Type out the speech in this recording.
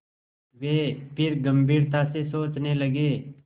वे फिर गम्भीरता से सोचने लगे